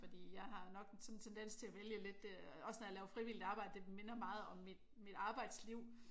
Fordi jeg har nok sådan en tendens til at vælge lidt også når jeg laver frivilligt arbejde det minder meget om mit mit arbejdsliv